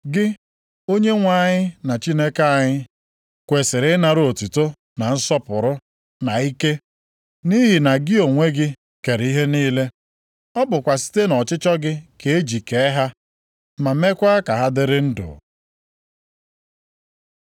“Gị, Onyenwe anyị na Chineke anyị, kwesiri ịnara otuto, na nsọpụrụ, na ike. Nʼihi na gị onwe gị kere ihe niile, ọ bụkwa site nʼọchịchọ gị ka e ji kee ha, ma meekwa ka ha dịrị ndụ.”